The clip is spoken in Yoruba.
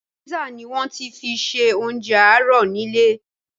Písà ni wọ́n fi ṣe oúnjẹ àárọ̀ ni ilé